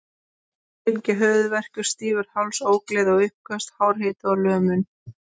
Þessu fylgja höfuðverkur, stífur háls, ógleði og uppköst, hár hiti og lömun.